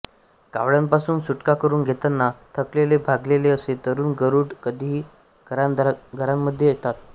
कावळयांनपासून सुटका करून घेताना थकलेले भागलेले असे तरुण गरुड कधीही घरादारांमध्ये येतात